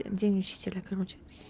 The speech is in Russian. день учителя короче